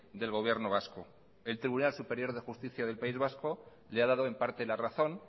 del gobierno vasco el tribunal superior de justicia del país vasco le ha dado en parte la razón